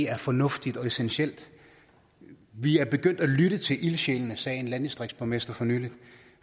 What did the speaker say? er fornuftigt og essentielt vi er begyndt at lytte til ildsjælene sagde en landdistriktsborgmester for nylig